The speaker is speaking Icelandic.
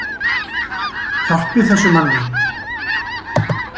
Hjálpið þessum manni.